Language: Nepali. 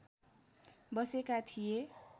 बसेका थिए